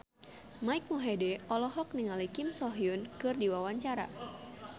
Mike Mohede olohok ningali Kim So Hyun keur diwawancara